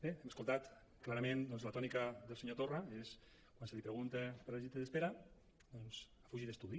bé hem escoltat clarament la tònica del senyor torra que és quan se li pregunta per les llistes d’espera fugir d’estudi